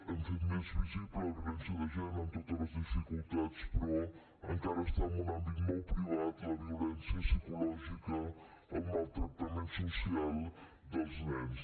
hem fet més visible la violència de gènere amb totes les dificultats però encara està en un àmbit molt privat la violència psicològica el maltractament social dels nens